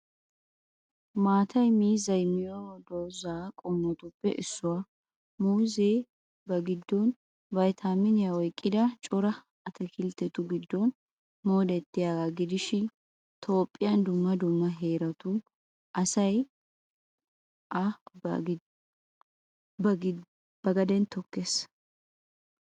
Maatay miizzay miyo dozaa qommotuppe issuwaa. Muuzee ba giddon vaytaaminiyaa oyqqida cora ataakilttetu giddon moodettiyaagaa gidishin Toophphiyan dumma dumma heeratu asay A ba gaden tookkees.